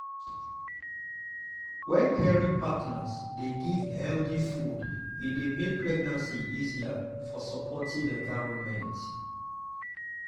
wen caring partners dey give healthy food e dey make pregnancy easier for supportive environment.